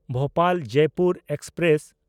ᱵᱷᱳᱯᱟᱞ–ᱡᱚᱭᱯᱩᱨ express